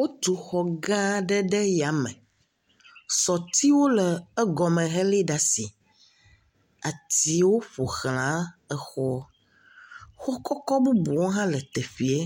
Wotu xɔ gãa aɖe ɖe yame. Sɔtiwo le egɔme helée ɖe asi. Atiwo ƒo xlã exɔɔ. Xɔ kɔkɔ bubuwo hã le teƒeɛ.